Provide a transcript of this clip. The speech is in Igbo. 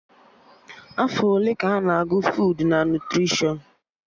Afọ ole ka a na-agụ fuud na nutrishọn?